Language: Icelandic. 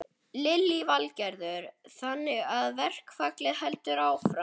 Lillý Valgerður: Þannig að verkfallið heldur áfram?